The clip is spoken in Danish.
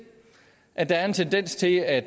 at der er en tendens til at